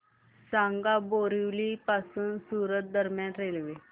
सांगा बोरिवली पासून सूरत दरम्यान रेल्वे